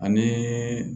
Ani